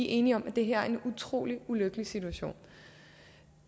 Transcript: enige om at det her er en utrolig ulykkelig situation